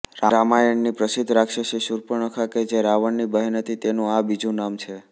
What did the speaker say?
રામાયણની પ્રસિધ્ધ રાક્ષસી શૂર્પણખા કે જે રાવણની બહેન હતી તેનુ આ બીજું નામ છે